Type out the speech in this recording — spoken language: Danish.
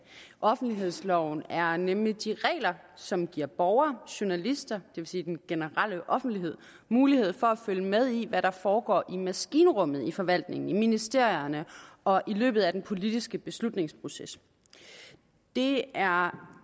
offentlighedsloven er nemlig de regler som giver borgere og journalister vil sige den generelle offentlighed mulighed for at følge med i hvad der foregår i maskinrummet i forvaltningen i ministerierne og i løbet af den politiske beslutningsproces det er